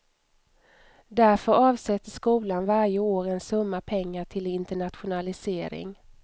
Därför avsätter skolan varje år en summa pengar till internationalisering.